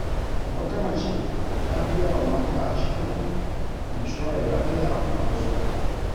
Wata mace ta biyawa mata ashirin inshorar lafiya a unguwarsu.